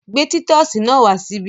Gbé títọ́sì náà wá síbí!